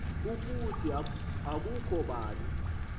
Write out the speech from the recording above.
ukuthi akukho bani